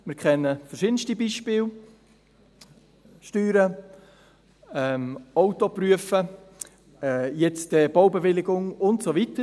Wir kennen verschiedenste Beispiele: die Steuern, die Prüfung des Autos, demnächst die Baubewilligung und so weiter.